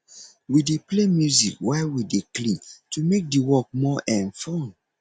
we dey play music while we dey clean to make di work more um fun